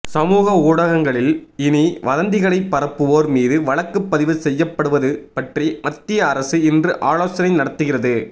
சமூக ஊடகங்களில் இனி வதந்திகளைப் பரப்புவோர் மீது வழக்கு பதிவு செய்யப்படுவது பற்றி மத்திய அரசு இன்று ஆலோசனை நடத்துகிறது